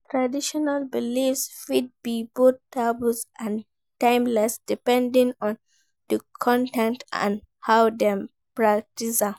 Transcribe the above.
Traditional beliefs fit be both taboo and timeless, depending on di context and how dem practice am.